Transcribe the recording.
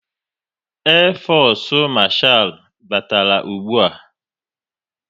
Air fosu marchal batara ụgbụa